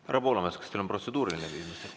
Härra Poolamets, kas teil on protseduuriline küsimus?